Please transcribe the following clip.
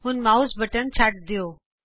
ਹੁਣ mouse button ਛੱਡ ਦਿਉ